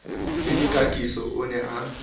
le dikakiso o ne a